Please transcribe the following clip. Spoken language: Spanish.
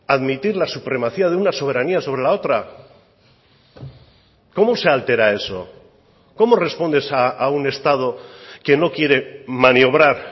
admitir la supremacía de una soberanía sobre la otra cómo se altera eso cómo respondes a un estado que no quiere maniobrar